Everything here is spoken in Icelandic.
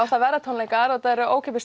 það verða tónleikar og þeir eru ókeypis